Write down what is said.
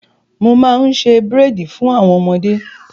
Mo máa ń ṣe búréèdì fún àwọn ọmọdé.